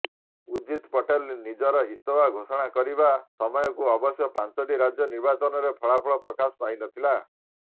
ଉଜିତ୍ ପଟେଲ ନିଜର ଇସ୍ତଫା ଘୋଷଣା କରିବା ସମୟକୁ ଅବଶ୍ୟ ପାଞ୍ଚଟି ରାଜ୍ୟ ନିର୍ବାଚନରେ ଫଳାଫଳ ପ୍ରକାଶ ପାଇ ନଥିଲା